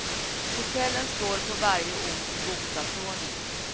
Hotellen står på varje ort i bokstavsordning.